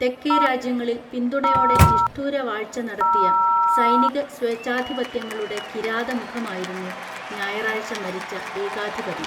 തെക്കേ രാജ്യങ്ങളിൽ പിന്തുണയോടെ നിഷ്ഠൂര വാഴ്ച നടത്തിയ സൈനിക സ്വേഛാധിപത്യങ്ങളുടെ കിരാത മുഖമായിരുന്നു ഞായറാഴ്ച മരിച്ച ഏകാധിപതി